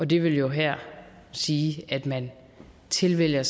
det vil jo her sige at man tilvælger